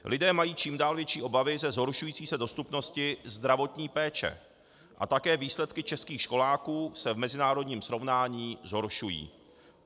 Lidé mají čím dál větší obavy ze zhoršující se dostupnosti zdravotní péče a také výsledky českých školáků se v mezinárodním srovnání zhoršují.